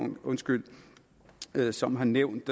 som har nævnt